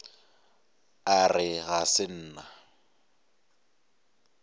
a re ga se nna